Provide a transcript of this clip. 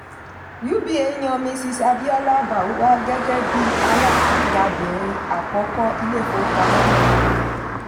uba yan mrs abiola bawuah gẹ́gẹ́ bí alágabìnrin àkọ́kọ́ ilé-ìfowópamọ́ náà.